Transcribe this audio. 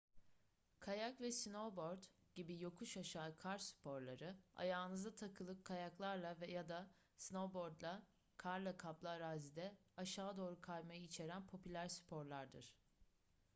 kayak ve snowboard gibi yokuş aşağı kar sporları ayağınıza takılı kayaklarla ya da snowboard'la karla kaplı arazide aşağı doğru kaymayı içeren popüler sporlardır